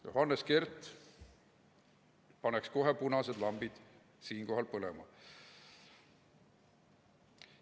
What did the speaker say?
" Johannes Kert paneks siinkohal kohe punased lambid põlema.